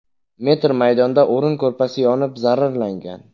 metr maydonda o‘rin-ko‘rpasi yonib zararlangan.